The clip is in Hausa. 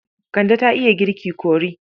Kande ta iya girki kori.